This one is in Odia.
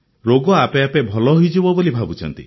ରୋଗ ଆପେ ଆପେ ଭଲ ହୋଇଯିବ ବୋଲି ଭାବୁଛନ୍ତି